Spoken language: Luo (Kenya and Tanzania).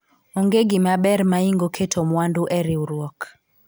onge gima ber maingo keto mwandu e riwruok